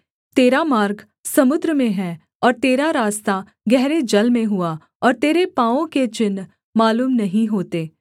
तेरा मार्ग समुद्र में है और तेरा रास्ता गहरे जल में हुआ और तेरे पाँवों के चिन्ह मालूम नहीं होते